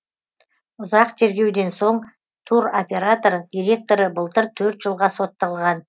ұзақ тергеуден соң туроператор директоры былтыр төрт жылға сотталған